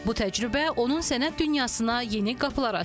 Bu təcrübə onun sənət dünyasına yeni qapılar açıb.